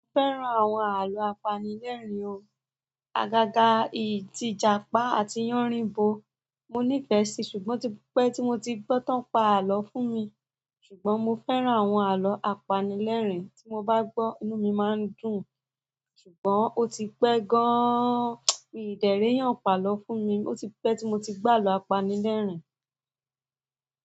Fẹ́ran àwọn àlọ́ apanilẹ́rìn ọ̀. Àgàgà, ì--tìjàpá àti yánrinbo mo nífẹ̀ẹ́ sí, ṣùgbọ́n ọ̀ tí pe ti mo ti gbọ́ tán pa àlọ́ fún mi ṣùgbọ́n mo fẹ́ran àwọn àlọ́ apanilẹ́rìn. Tí mo bá gbọ́, inú mi máa ń dùn. Ṣùgbọ́n ó ti pẹ́ gan-an, mi n de ri eeyàn pàlọ́ fún mi, ó ti pẹ́ tí mo ti gbo àlọ́ apanilẹ́rìn.